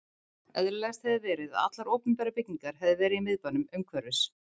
Eðlilegast hefði verið, að allar opinberar byggingar hefði verið í Miðbænum, umhverfis